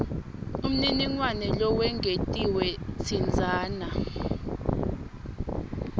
umniningwane lowengetiwe tsintsana